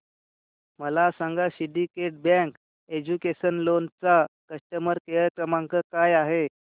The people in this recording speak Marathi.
मला सांगा सिंडीकेट बँक एज्युकेशनल लोन चा कस्टमर केअर क्रमांक काय आहे